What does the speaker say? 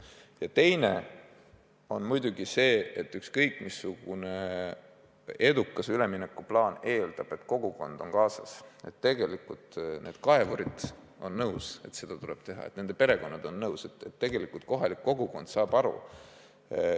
Ja teine asi on muidugi see, et igasugune edukas üleminekuplaan eeldab, et kogukond on kaasatud – kaevurid on nõus, et seda tuleb teha, ja nende perekonnad on nõus, kohalik kogukond saab aru.